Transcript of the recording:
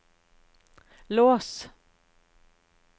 lås